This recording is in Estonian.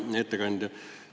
Hea ettekandja!